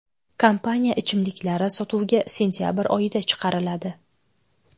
Kompaniya ichimliklari sotuvga sentabr oyida chiqariladi.